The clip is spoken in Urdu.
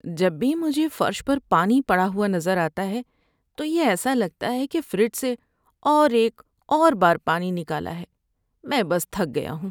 جب بھی مجھے فرش پر پانی پڑا ہوا نظر آتا ہے تو یہ ایسا لگتا ہے کہ فریج سے اور ایک اور بار پانی نکالا ہے۔ میں بس تھک گیا ہوں۔